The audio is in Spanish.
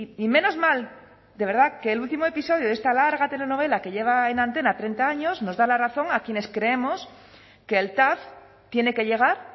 y menos mal de verdad que el último episodio de esta larga telenovela que lleva en antena treinta años nos da la razón a quienes creemos que el tav tiene que llegar